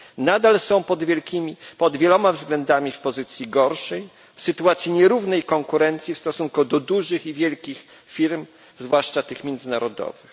Nadal są pod wieloma względami w pozycji gorszej, w sytuacji nierównej konkurencji w stosunku do dużych i wielkich firm, zwłaszcza tych międzynarodowych.